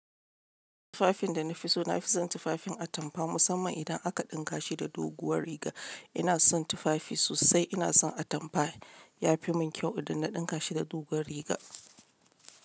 Tufafin da na fi so, na fi son tufafin atamfa musamman idan aka ɗinka shi da doguwar riga. Ina son tufafi sosai. Ina son atamfa. Ya fi mun kyau idan na ɗinka shi da doguwar riga.